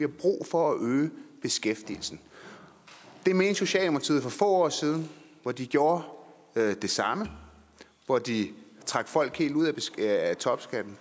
brug for at øge beskæftigelsen det mente socialdemokratiet for få år siden hvor de gjorde det samme hvor de trak folk helt ud af topskatten